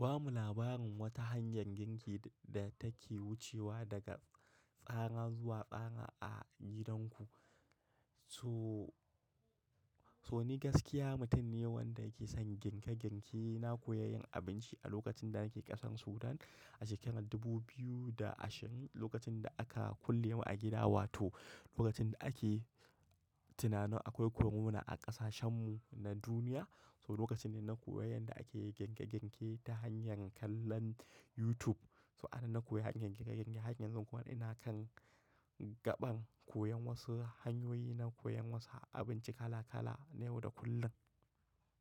Ba mu labarin wata hanyar girki da take wucewa daga tsara zuwa tsara a gidanku. So, so ni gaskiya mutum ne wanda yake son girke-girke. Na koya yin abinci a lokacin da nake ƙasar Sudan a shekarar dubu biyu da ashirin lokacin da aka kulle mu a gida, wato lokacin da ake tunanin akwai korona a ƙasashen mu na duniya. So lokacin ne na koya yanda ake girke-girke ta hanyar kallon YouTube. To ana na koyi hanyar girke-girke, har yanzun kuma ina kan gaɓan koyon wasu hanyoyi na koyan wasu abinci kala-kala na yau da kullum.